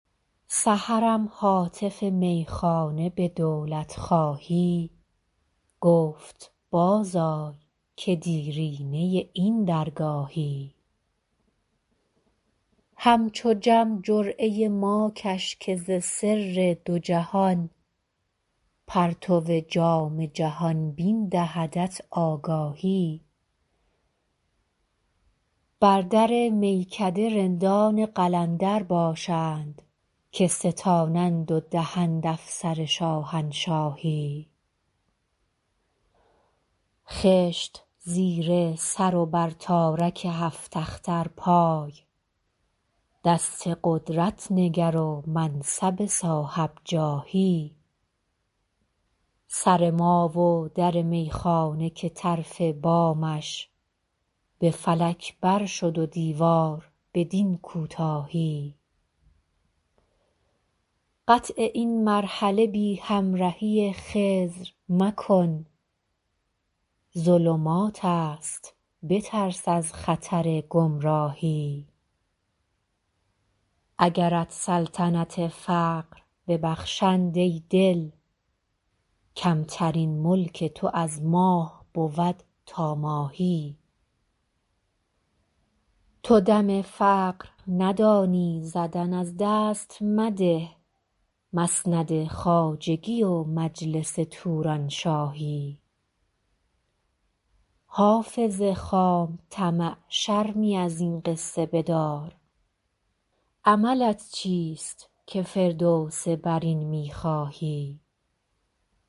سحرم هاتف میخانه به دولت خواهی گفت باز آی که دیرینه این درگاهی همچو جم جرعه ما کش که ز سر دو جهان پرتو جام جهان بین دهدت آگاهی بر در میکده رندان قلندر باشند که ستانند و دهند افسر شاهنشاهی خشت زیر سر و بر تارک هفت اختر پای دست قدرت نگر و منصب صاحب جاهی سر ما و در میخانه که طرف بامش به فلک بر شد و دیوار بدین کوتاهی قطع این مرحله بی همرهی خضر مکن ظلمات است بترس از خطر گمراهی اگرت سلطنت فقر ببخشند ای دل کمترین ملک تو از ماه بود تا ماهی تو دم فقر ندانی زدن از دست مده مسند خواجگی و مجلس تورانشاهی حافظ خام طمع شرمی از این قصه بدار عملت چیست که فردوس برین می خواهی